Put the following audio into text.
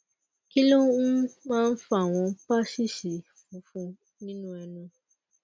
kí ló um máa ń fa àwọn paṣíìṣì funfun nínú ẹnu